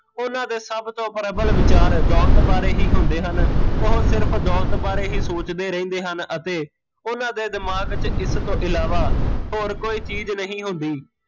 ਉਹਨਾਂ ਦੇ ਸਭ ਤੋਂ ਪ੍ਰਬਲ ਵਿਚਾਰ ਦੋਲਤ ਬਾਰੇ ਹੀਂ ਹੁੰਦੇ ਹਨ, ਓਹ ਸਿਰਫ਼ ਦੋਲਤ ਬਾਰੇ ਹੀਂ ਸੋਚਦੇ ਰਹਿੰਦੇ ਹਨ ਅਤੇ ਓਹਨਾਂ ਦੇ ਦਿਮਾਗ ਵਿੱਚ ਇਸ ਤੋਂ ਇਲਾਵਾ ਹੋਰ ਕੋਈ ਚੀਜ਼ ਨਹੀਂ ਹੁੰਦੀ